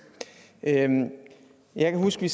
jeg husker at